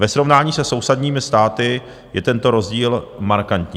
Ve srovnání se sousedními státy je tento rozdíl markantní.